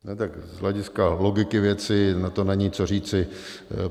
Tak z hlediska logiky věci na to není co říci.